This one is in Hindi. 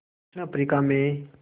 दक्षिण अफ्रीका में